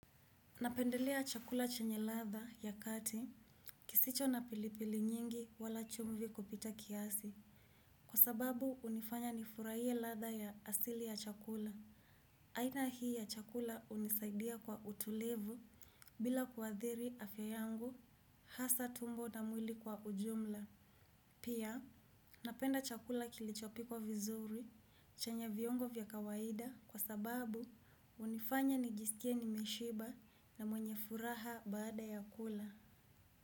Napendelea chakula chenye latha ya kati, kisicho na pilipili nyingi wala chumvi kupita kiasi, kwa sababu hunifanya nifurahie ladha ya asili ya chakula. Aina hii ya chakula hunisaidia kwa utulivu, bila kuadhiri afya yangu, hasa tumbo na mwili kwa ujumla. Pia napenda chakula kilichopikwa vizuri chenye viungo vya kawaida kwa sababu hunifanya nijisikie nimeshiba na mwenye furaha baada ya kula.